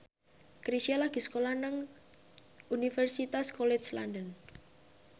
Chrisye lagi sekolah nang Universitas College London